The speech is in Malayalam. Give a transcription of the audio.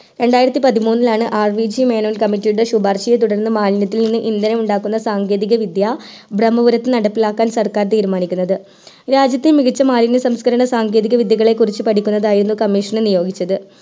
രണ്ടായിരത്തി പതിമൂന്നിലാണ് RVG മേനോൻ committee യുടെ സുപർശിയെ തുടർന്ന് മാലിന്യത്തിൽ നിന്ന് ഇദ്ദനം ഉണ്ടാകുന്ന സങ്കേതിക വിദ്യ ബ്രഹ്മപുരത് നടപ്പിലാക്കാൻ സർക്കാർ തീരുമാനിക്കുന്നത് രാജ്യത്തെ മികച്ച മാലിന്യ സംസ്കരണ സങ്കേതിക വിദ്യകളെ കുറിച്ച് പഠിക്കുന്നതിനായിരുന്നു കമ്മീഷൻ നിയോഗിച്ചത്